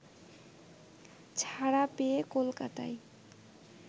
ছাড়া পেয়ে কলকাতায়